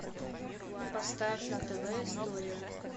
поставь на тв история